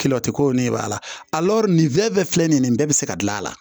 Kilo ti ko nin b'a la nin fɛn bɛɛ filɛ nin ye nin bɛɛ bɛ se ka gilan a la